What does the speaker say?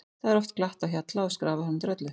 Það er oft glatt á hjalla og skrafað fram eftir öllu.